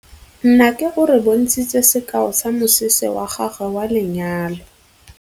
Nnake o re bontshitse sekaô sa mosese wa gagwe wa lenyalo.